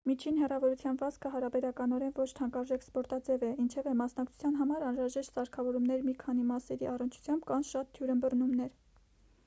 միջին հեռավորության վազքը հարաբերականորեն ոչ թանկարժեք սպորտաձև է ինչևէ մասնակցության համար անհրաժեշտ սարքավորումների մի քանի մասերի առնչությամբ կան շատ թյուրըմբռնումներ